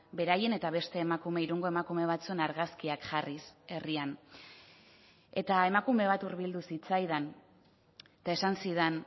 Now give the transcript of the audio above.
beraien eta beste emakume irungo emakume batzuen argazkiak jarriz herrian eta emakume bat hurbildu zitzaidan eta esan zidan